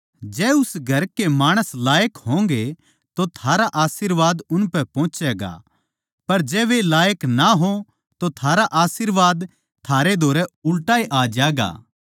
जै उस घर के माणस लायक होंगे तो थारा आशीर्वाद उनपै पुहँचगा पर जै वे लायक ना हों तो थारा आशीर्वाद थारै धोरै उल्टा ए आ ज्यागा